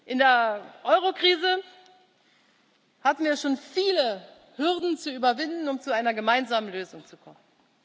In der Eurokrise hatten wir schon viele Hürden zu überwinden, um zu einer gemeinsamen Lösung zu kommen.